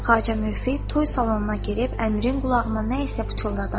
Xacə Müvəffiq toy salonuna girib Əmirin qulağına nə isə pıçıldadı.